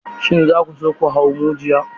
Shin za ku so ku hau majuyi?